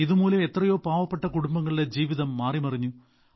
ഇതുമൂലം എത്രയോ പാവപ്പെട്ട കുടുംബങ്ങളുടെ ജീവിതം മാറിമറിഞ്ഞു